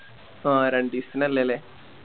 ആഹ് രണ്ടിസത്തിന് അല്ലെ ലെ